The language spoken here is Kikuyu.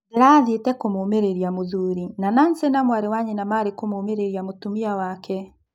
Ndĩrathiĩte kũmũũmĩrĩria mũthuri, na Nancy na mwarĩ wa nyina maarĩ kũmũmĩrĩria mũtumia wake.